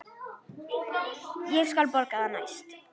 Ég skal borga það næst.